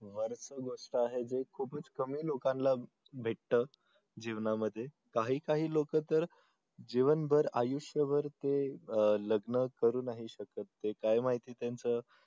भरपूर गोष्ट आहे जे खूपच कमी लोकांना भेटत जीवनामध्ये काही काही लोक तर जीवनभर आयुष्यभर ते लग्न करू नाही शकत ते काय माहिती त्यांचं